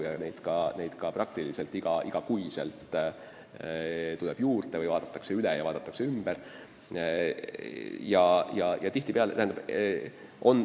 Sanktsioone tuleb praktiliselt iga kuu juurde, neid vaadatakse üle ja muudetakse.